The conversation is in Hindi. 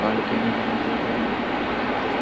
बालकनी बना दिया गया है यहां पे घूमने के लिए सब --